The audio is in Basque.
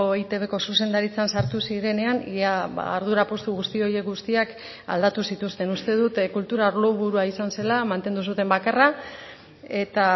eitbko zuzendaritzan sartu zirenean ia ardura postu guzti horiek guztiak aldatu zituzten uste dut kultura arlo burua izan zela mantendu zuten bakarra eta